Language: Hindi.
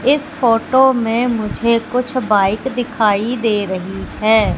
इस फोटो में मुझे कुछ बाइक दिखाई दे रही हैं।